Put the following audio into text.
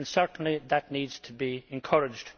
Certainly that needs to be encouraged.